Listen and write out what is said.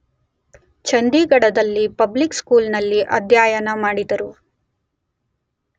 ಚಂಡೀಘಢ ರಲ್ಲಿ public school ನಲ್ಲಿ ಅಧ್ಯಯನ ಮಾಡಿದರು.